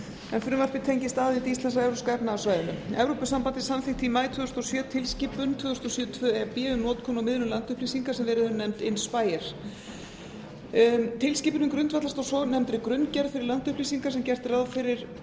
en frumvarpið tengist aðild íslands að evrópska efnahagssvæðinu evrópusamþykktið samþykkti í maí tvö þúsund og sjö tilskipun tvö þúsund og sjö e b um notkun á miðlun landupplýsinga sem verið hefur nefnd imspayer tilskipunin grundvallast á svonefndri grunngerð fyrir landupplýsingar sem gert er ráð fyrir